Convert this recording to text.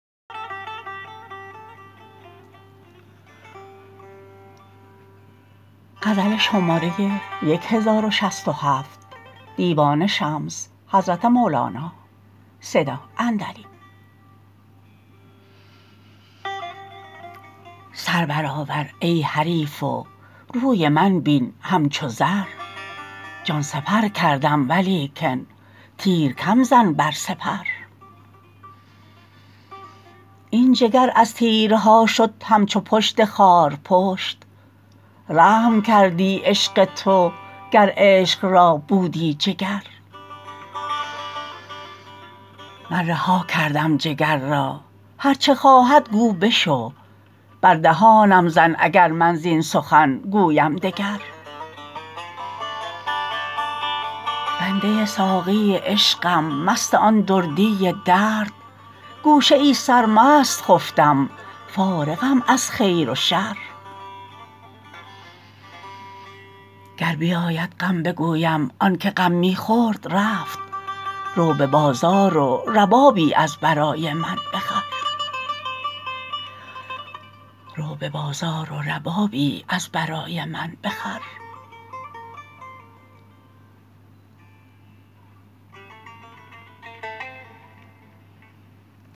سر برآور ای حریف و روی من بین همچو زر جان سپر کردم ولیکن تیر کم زن بر سپر این جگر از تیرها شد همچو پشت خارپشت رحم کردی عشق تو گر عشق را بودی جگر من رها کردم جگر را هرچ خواهد گو بشو بر دهانم زن اگر من زین سخن گویم دگر بنده ساقی عشقم مست آن دردی درد گوشه ای سرمست خفتم فارغم از خیر و شر گر بیاید غم بگویم آنک غم می خورد رفت رو به بازار و ربابی از برای من بخر